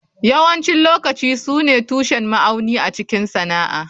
Yawancin lokaci su ne tushen ma'auni a cikin sana'a.